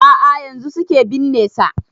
A'a yanzun suke binne sa